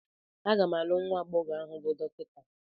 A ga m alụ nwa agbọghọ ahụ bụ Dọkịta.